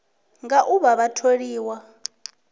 nga u vha vha tholiwa